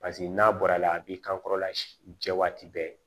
Paseke n'a bɔra a la a b'i kan kɔrɔla jɛ waati bɛɛ